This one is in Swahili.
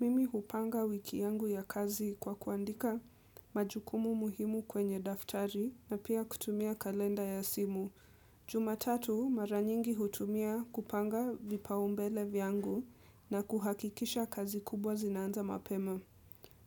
Mimi hupanga wiki yangu ya kazi kwa kuandika majukumu muhimu kwenye daftari na pia kutumia kalenda ya simu. Jumatatu mara nyingi hutumia kupanga vipaumbele vyangu na kuhakikisha kazi kubwa zinaanza mapema.